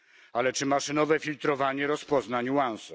Ale czy maszynowe filtrowanie rozpozna niuanse?